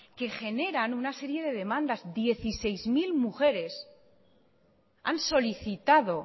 que generan una serie de demandas dieciseis mil mujeres han solicitado